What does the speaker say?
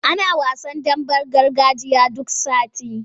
Ana wasan damben gargajiya duk sati.